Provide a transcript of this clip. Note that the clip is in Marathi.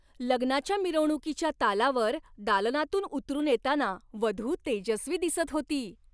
लग्नाच्या मिरवणुकीच्या तालावर दालनातून उतरून येताना वधू तेजस्वी दिसत होती.